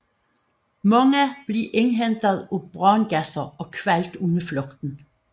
Mange blev indhentet af brandgasser og kvalt under flugten